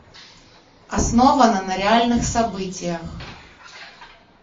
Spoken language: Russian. основано на реальных событиях